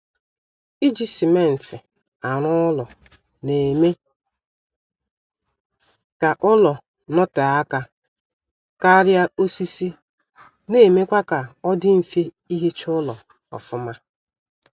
Iji simentị arụ ụlọ na-eme ka ụlọ notee aka karịa osisi na-emekwa kaọdị mfe ihicha ụlọ ọfụma